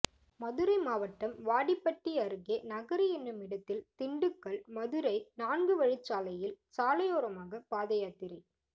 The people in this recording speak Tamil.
மதுரை மாவட்டம் வாடிப்பட்டி அருகே நகரி எனுமிடத்தில் திண்டுக்கல் மதுரை நான்கு வழிச்சாலையில் சாலையோரமாக பாதயாத்திரை